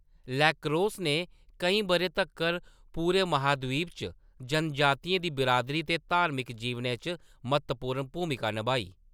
Lacrosse ने केईं बʼरें तक्कर पूरे महादीप च जनजातियें दी बिरादरी ते धार्मिक जीवनै च म्हत्तवपूर्ण भूमिका नभाई।